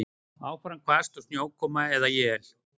Áfram hvasst og snjókoma eða él